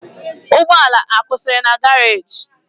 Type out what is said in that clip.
Ugbo ala akwusiri na garage?